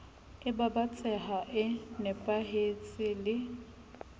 e babatsehang e nepahetseng le